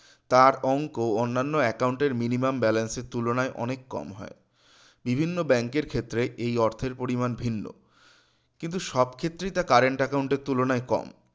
তার অংক অন্যান্য account এর minimum balance এর তুলনায় অনেক কম হয় বিভিন্ন bank এর ক্ষেত্রে এই অর্থের পরিমান ভিন্ন কিন্তু সবক্ষেত্রেই তা current account তুলনায় কম